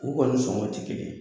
U kɔni sɔngɔ ti kelen ye.